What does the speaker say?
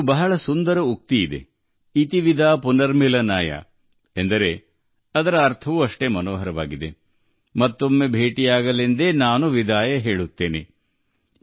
ಬಹಳ ಸುಂದರವಾದ ಮಾತಿದೆ - 'ಇತಿ ವಿದಾ ಪುನರ್ಮಿಳನಾಯ' ಅದರ ಅರ್ಥವೂ ಅಷ್ಟೇ ಸುಂದರವಾಗಿದೆ ಮತ್ತೊಮ್ಮೆ ಭೇಟಿಯಾಗಲು ನಾನು ನಿಮ್ಮಿಂದ ರಜೆ ತೆಗೆದುಕೊಂಡಿದ್ದೆ